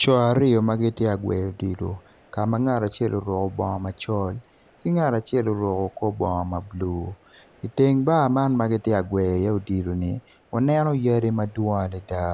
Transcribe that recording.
Co aryo ma giti agweyo odilo ka ma ngat acel oruku bongo macol ki ngat acel oruku kor bongo ma bulu iteng bar man ma giti gwe iye odilo-ni uneno yadi ma dwong adida